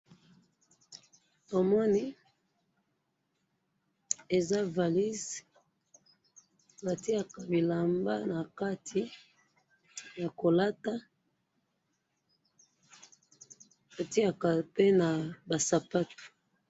Timoni eza valise, batiyaka bilamba nakati yakolata, batiyaka pe na basapatu.